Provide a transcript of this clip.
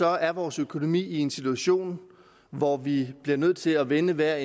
er vores økonomi i en situation hvor vi bliver nødt til at vende hver